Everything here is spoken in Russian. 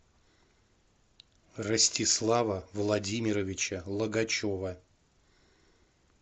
ростислава владимировича логачева